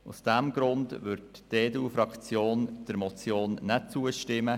Aus diesem Grund wirrd die EDU-Fraktion der Motion nicht zustimmen.